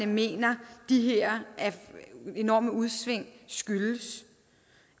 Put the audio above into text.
mener de her enorme udsving skyldes